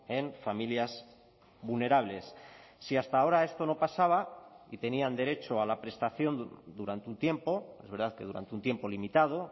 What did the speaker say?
en familias vulnerables si hasta ahora esto no pasaba y tenían derecho a la prestación durante un tiempo es verdad que durante un tiempo limitado